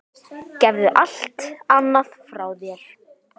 Gefðu allt annað frá þér.